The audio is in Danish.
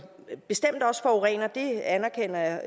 bestemt også forurener det anerkender